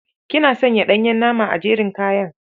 Kina sanya ɗanyen nama a jerin kayan.